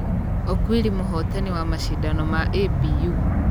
Okwiri mũhotani wa mashidano ma ABU.